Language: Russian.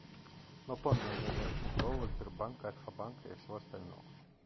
но помни у меня нет тинькова сбербанка альфа-банка и всего остального